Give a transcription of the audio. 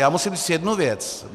Já musím říci jednu věc.